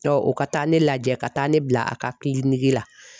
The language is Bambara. o ka taa ne lajɛ ka taa ne bila a ka la.